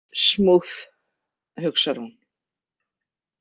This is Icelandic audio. Smooth, hugsar hún.